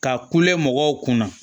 Ka kule mɔgɔw kunna